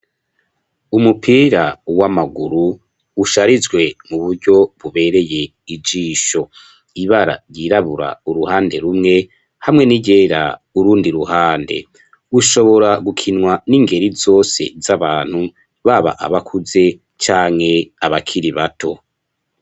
Umupira w'amaguru, usharijwe mu buryo bubereye ijisho; ibara ryirabura uruhande rumwe, hamwe n'iryera urundi ruhande; ushobora gukinwa, n'ingeri zose z'abantu, baba abakuze, canke abakiri bato.